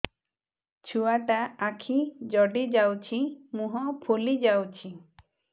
ଛୁଆଟା ଆଖି ଜଡ଼ି ଯାଉଛି ମୁହଁ ଫୁଲି ଯାଉଛି